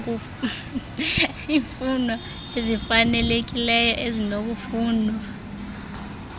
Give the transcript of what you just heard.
iifuno ezifanalekileyo ezinokufunwa